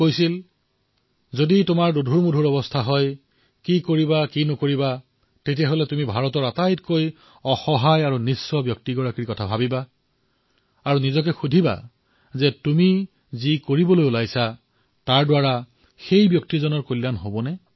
তেওঁ কৈছিল যে যদি তুমি কি কৰা উচিত বা অনুচিত সেই লৈ যদি চিন্তাত পৰিছা তেন্তে ভাৰতৰ সেই সবাতোকৈ অসহায় ব্যক্তিজনৰ বিষয়ে ভাবা আৰু নিজকে প্ৰশ্ন কৰা যে তুমি কৰি কৰিলে সেই ব্যক্তিজনৰ কল্যাণ হব